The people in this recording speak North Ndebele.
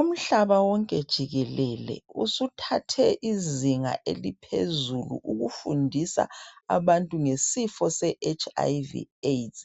Umhlaba wonke jikelele usuthathe izinga eliphezulu, ukufundisa abantu ngesifo seHIV AIDS.